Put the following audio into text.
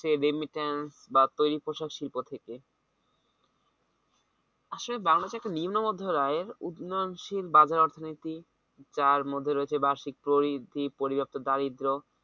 বা তৈরী শিল্প থেকে আসলে বাঙলা তে একটা নিম্ন মধ্য আয়ের উন্নয়নশীল অর্থনীতি রয়েছে বার্ষিক পরিবৃদ্ধি, পরিব্যাক্ত দারিদ্র